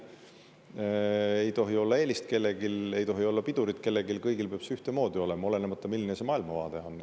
Kellelgi ei tohi olla eelist, kellelgi ei tohi olla pidurit, kõigil peab ühtemoodi olema, olenemata, milline maailmavaade on.